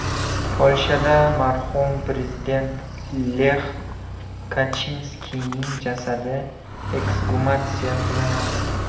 Polshada marhum prezident Lex Kachinskiyning jasadi eksgumatsiya qilinadi.